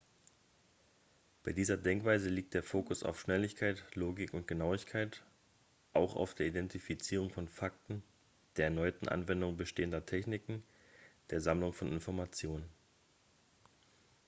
bei dieser denkweise liegt der fokus auf schnelligkeit logik und genauigkeit auch auf der identifizierung von fakten der erneuten anwendung bestehender techniken der sammlung von informationen